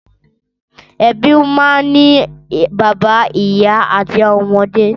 Ẹbí máa ń ní bàbá, ìyá àti àwọn ọmọdé.